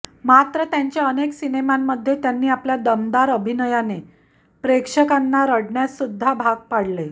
मात्र त्यांच्या अनेक सिनेमांमध्ये त्यांनी आपल्या दमदार अभिनयाने प्रेक्षकांना रडण्यासुध्दा भाग पाडले